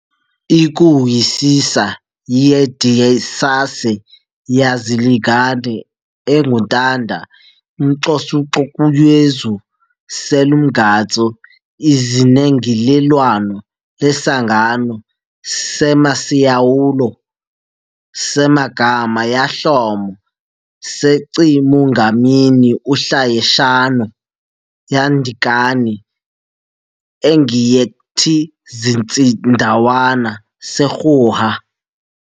iKuhusisa yedisase yalizigana, enguNtanda umxokus'Xokuyezu seLomgats'Izinengilelwana leSangano seMasiyawulo seMagama yaHlomo seChimungamini oHlayeshanu yaNdinkani engiyethiZitsindawani seRuhwa